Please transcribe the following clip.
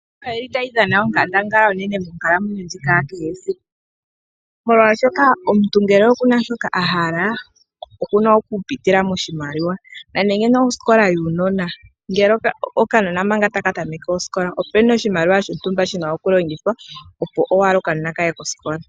Iimaliwa oyili tayi dhana onkandangala onene monkalamwenyo ndjika yakehe esiku, molwaashoka omuntu ngele okuna shoka ahala okuna okupitila moshimaliwa. Nande osikola yuunanona, ngele okanona omanga taka tameke osikola, opuna oshimaliwa shontumba shina okulongithwa opo okanona kaye kosikola.